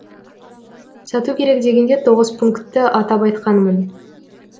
сату керек дегенде тоғыз пунктті атап айтқанмын